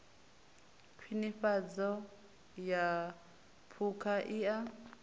khwinifhadzo ya phukha i a